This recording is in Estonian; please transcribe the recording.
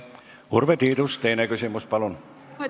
Urve Tiidus, teine küsimus, palun!